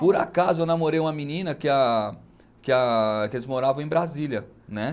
Por acaso, eu namorei uma menina que a que a que eles moravam em Brasília, né?